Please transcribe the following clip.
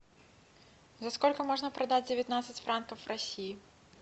за сколько можно продать девятнадцать франков в россии